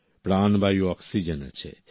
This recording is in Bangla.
প্রাণবায়ু অক্সিজেন আছে